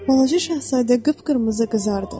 Balaca Şahzadə qıpqırmızı qızardı.